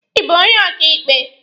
Ị bụ onye ọkaịkpe?